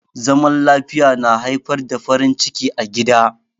Zaman lafiya na haifar da farin ciki a gida.